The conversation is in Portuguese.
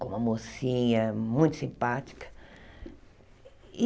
com uma mocinha muito simpática.